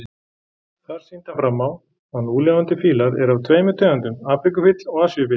Þar sýndi hann fram á að núlifandi fílar eru af tveimur tegundum, afríkufíll og asíufíll.